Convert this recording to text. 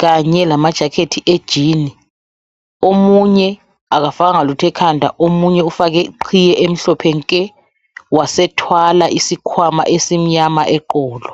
Kanye lamajacket e jean omunye akafakanga lutho ekhanda omunye ufake iqhiye emhlophe nke wasethwala isikhwama esimnyama eqolo.